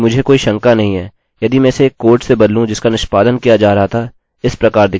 अतः हम यह नहीं करेंगे ठीक है